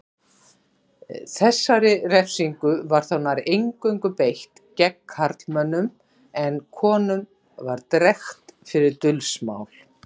Þessari refsingu var þó nær eingöngu beitt gegn karlmönnum en konum var drekkt fyrir dulsmál.